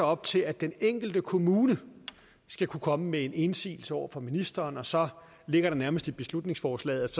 op til at den enkelte kommune skal kunne komme med indsigelser over for ministeren og så ligger det nærmest i beslutningsforslaget